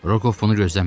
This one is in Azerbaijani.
Rokov bunu gözləmirdi.